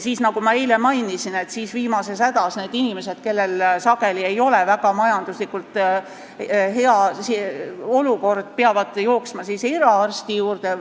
Nagu ma eile mainisin, viimases hädas peavad need inimesed, kellel sageli ei ole majanduslikult väga hea olukord, jooksma eraarsti juurde.